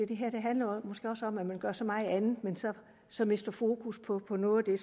det her handler måske også om at man gør så meget andet men så mister fokus på noget af